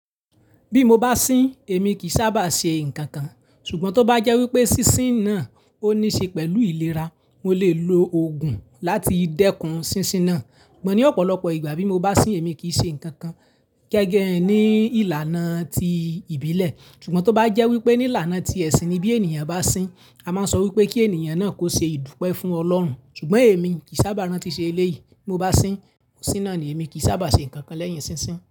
Bí mo bá sín, èmi kì í sábà ṣe nǹkan kan, ṣùgbọ́n tó bá jẹ́ wípé sísín náà ó ní ṣe pẹ̀lú ìlera, mo lè lo ògùn láti dẹ́kun sísín náà. Gbo ní ọ̀pọ̀lọpọ̀ ìgbà bí mo bá sín, èmi kì í ṣe nǹkan kan gẹ́gẹ́ ní ìlànà tí ìbílẹ̀. Ṣùgbọ́n tó bá jẹ́ wípé ní ìlànà ti ẹ̀sìn ni bí ènìyàn bá sín, a máa sọ wípé kí ènìyàn náà kó ṣe ìdúpẹ́ fún Ọlọ́run. Ṣùgbọ́n èmi kì í sábà rántí ṣe eléyìí. Bí mo bá sín, ó síná ni, èmi kì í sábà ṣe nǹkan kan lẹ́yìn sísín.